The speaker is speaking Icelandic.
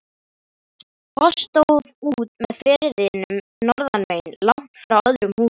Foss stóð út með firðinum norðanmegin, langt frá öðrum húsum.